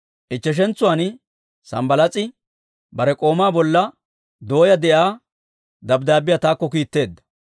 Ichcheshentsuwaan Sambbalaas'i bare k'oomaa bolla dooyaa de'iyaa dabddaabbiyaa taakko kiitteedda.